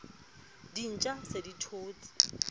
dintja di se di thotse